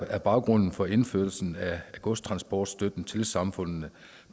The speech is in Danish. baggrunden for indførelsen af godstransportstøtten til samfundene